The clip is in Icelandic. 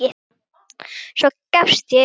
Svo gafst ég upp.